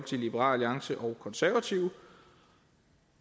liberal alliance og konservative